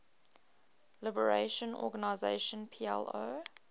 liberation organization plo